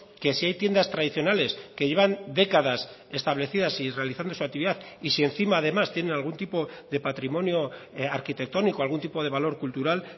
que si hay tiendas tradicionales que llevan décadas establecidas y realizando su actividad y si encima además tienen algún tipo de patrimonio arquitectónico algún tipo de valor cultural